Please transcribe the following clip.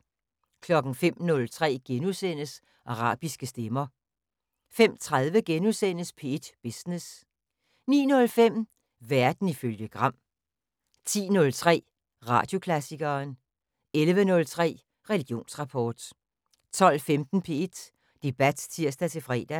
05:03: Arabiske stemmer * 05:30: P1 Business * 09:05: Verden ifølge Gram 10:03: Radioklassikeren 11:03: Religionsrapport 12:15: P1 Debat (tir-fre)